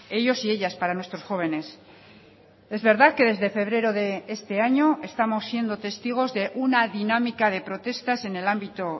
ellos y ellas para nuestros jóvenes es verdad que desde febrero de este año estamos siendo testigos de una dinámica de protestas en el ámbito